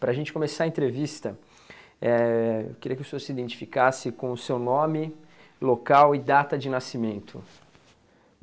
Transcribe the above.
Para a gente começar a entrevista, eh eu queria que o senhor se identificasse com o seu nome, local e data de nascimento.